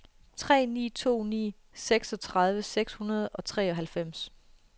tre ni to ni seksogtredive seks hundrede og treoghalvfems